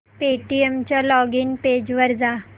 Paytm च्या login page वर जा